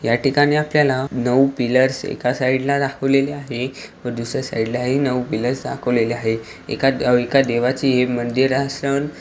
या ठिकाणी आपल्याला नऊ पिलर्स एका साइड ला दाखवलेली आहे व दुसर्‍या साइड ला ही नऊ पिलर्स दाखवलेले आहे एका देवाची हे मंदिर असन.